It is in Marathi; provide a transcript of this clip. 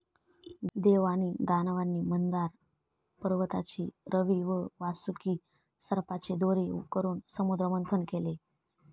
देव आणि दानवांनी मंदार पर्वताची रवी व वासुकी सर्पाची दोरी करून समुद्रमंथन केले.